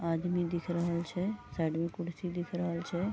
आदमी दिख रहल छे साइड में कुर्सी दिख रहल छे।